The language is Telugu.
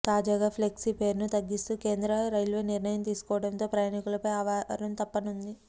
తాజాగా ఫ్లెక్సీ ఫేర్ను తగ్గిస్తూ కేంద్ర రైల్వే నిర్ణయం తీసుకోవడంతో ప్రయాణికులపై ఆ భారం తప్పనుంది